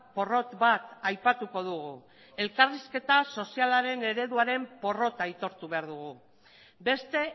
porrot bat aipatuko dugu elkarrizketa sozialaren ereduaren porrota aitortu behar dugu beste